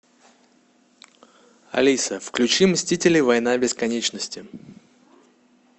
алиса включи мстители война бесконечности